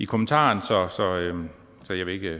kommentar ja